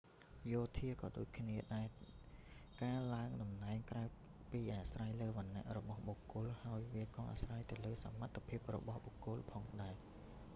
យោធាក៏ដូចគ្នានេះដែរ ការឡើងតំណែងក្រៅពីអាស្រ័យលើវណ្ណៈរបស់បុគ្គលហើយ វាក៏អាស្រ័យទៅលើសមត្ថភាពរបស់បុគ្គលផងដែរ